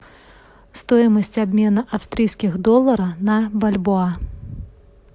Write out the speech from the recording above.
стоимость обмена австрийских долларов на бальбоа